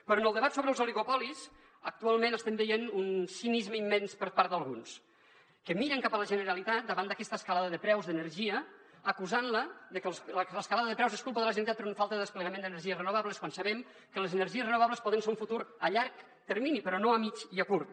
però en el debat sobre els oligopolis actualment estem veient un cinisme im·mens per part d’alguns que miren cap a la generalitat davant d’aquesta escalada de preus d’energia acusant·la de que l’escalada de preus és culpa de la generalitat per una falta de desplegament d’energies renovables quan sabem que les energies reno·vables poden ser un futur a llarg termini però no a mitjà ni a curt